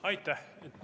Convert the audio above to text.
Aitäh!